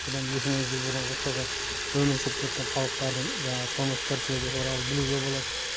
бұдан екі мың жыл бұрынғы тұрғын өмір сүріп кеткен халықтардың жаңағы тұрмыс тіршілігі туралы білуге болады